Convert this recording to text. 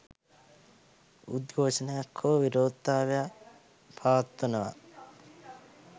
උද්ඝෝෂණයක් හෝ විරෝධතාවක් පවත්වනවා.